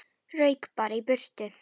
Rauk bara í burtu.